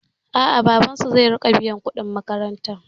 A'a, babansu zai riƙa biyan kuɗin makarantar.